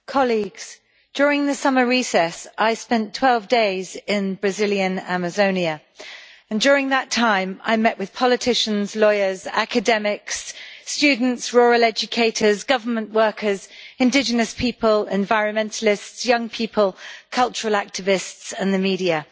Mr President, colleagues, during the summer recess I spent 12 days in Brazilian Amazonia, and during that time I met with politicians, lawyers, academics, students, rural educators, government workers, indigenous people, environmentalists, young people, cultural activists and the media.